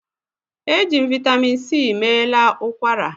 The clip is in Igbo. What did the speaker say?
Eji m Vị́tamị́n c meela ụkwara